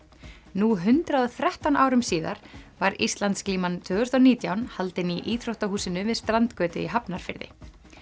nú hundrað og þrettán árum síðar var Íslandsglíman tvö þúsund og nítján haldin í íþróttahúsinu við strandgötu í Hafnarfirði